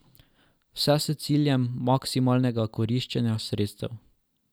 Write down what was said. Vse s ciljem maksimalnega koriščenja sredstev.